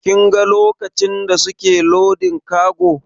Kin ga lokacin da suke lodin kago?